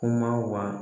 Kuma wa